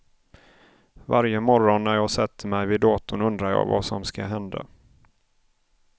Varje morgon när jag sätter mig vid datorn undrar jag vad som ska hända.